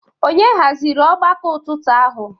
Ònye haziri ọgbakọ ụtụtụ ahụ?